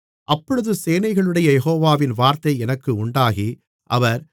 அப்பொழுது சேனைகளுடைய யெகோவாவின் வார்த்தை எனக்கு உண்டாகி அவர்